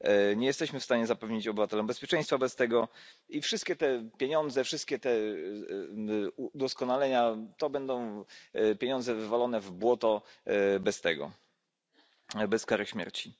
Nie jesteśmy w stanie zapewnić obywatelom bezpieczeństwa wobec tego i wszystkie te pieniądze, wszystkie te udoskonalenia to będą pieniądze wywalone w błoto bez tego, bez kary śmierci.